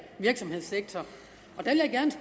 virksomhedssektor